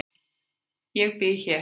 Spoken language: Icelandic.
Ég bý hér.